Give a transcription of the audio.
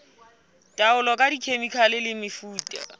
taolo ka dikhemikhale le mefuta